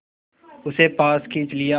उसे पास खींच लिया